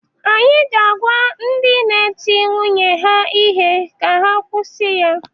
Anyị ga-agwa ndị na-eti nwunye ha ihe ka ha kwusi ya.